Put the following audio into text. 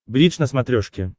бридж на смотрешке